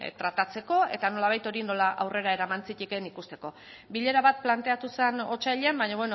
tratatzeko eta nolabait hori nola aurrera eraman zitekeen ikusteko bilera bat planteatu zen otsailean baina